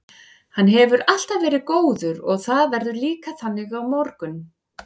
Hann hefur alltaf verið góður og það verður líka þannig á morgun.